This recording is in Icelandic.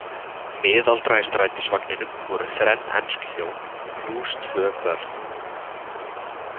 Miðaldra Í strætisvagninum voru þrenn ensk hjón, plús tvö börn.